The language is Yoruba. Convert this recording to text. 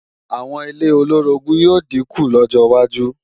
Àwọn ilé olóorogún yóò dínkù lọ́jọ wájú